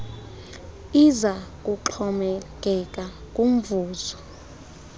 iza kuxhomekeka kumvuzo